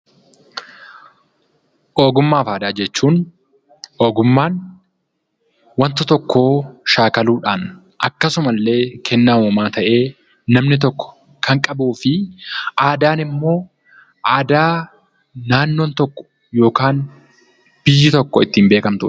Ogummaa fi aadaa jechuun, ogummaan waanta tokko shaakaluudhaan akkasuma illee kennaa uumamaa tahee namni tokko Kan qabuu fi aadaan immoo aadaa naannoon tokko yookaan biyyi tokko ittiin beekamtudha.